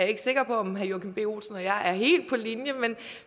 ikke sikker på om herre joachim b olsen og jeg er helt på linje